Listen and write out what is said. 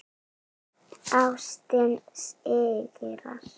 Ástin sigrar.